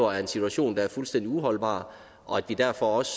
er en situation der er fuldstændig uholdbar og at vi derfor også